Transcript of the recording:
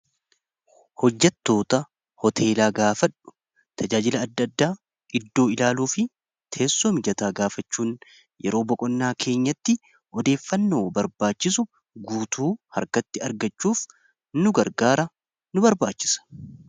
hojjattoota hoteelaa gaafadhu tajaajila adda addaa iddoo ilaaluu fi teessoomijataa gaafachuun yeroo boqonnaa keenyatti odeeffannoo barbaachisu guutuu harkatti argachuuf nu gargaara nu barbaachisa